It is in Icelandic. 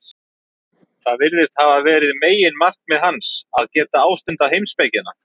Það virðist hafa verið meginmarkmið hans, að geta ástundað heimspekina.